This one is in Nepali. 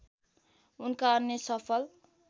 उनका अन्य सफल